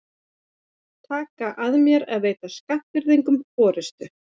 Taka að mér að veita Skagfirðingum forystu.